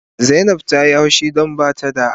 Zainab Ta Yi hushi don ba a ba ta